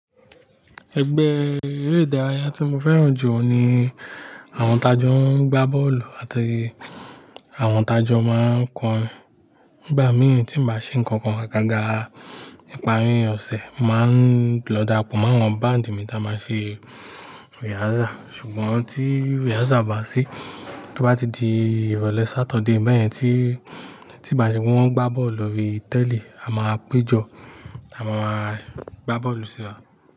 Ẹgbẹ́ eré ìdárayá tí mo fẹ́ràn jù ní àwọn tajọ ń gbá bọ́ọ̀lù àti àwọn tajọ máa ń kọrin. Nígbà mìí tí bàá ṣe nǹkan kan agágá, ìparí ọ̀sẹ̀, màá ń lọ dapo mọ́ àwọn band mi táa máa ń ṣe rehearsal. Ṣùgbọ́n tí rehearsal bá sí, tí ó bá ti di ìrọ̀lẹ́ Sáturday bẹ́ẹ̀ yẹn tí, tí bàá ṣe pé wọ́n ń gbá bọ́ọ̀lù lórí tẹ́lí, a máa péjọ, a máa máa gbá bọ́ọ̀lù síra.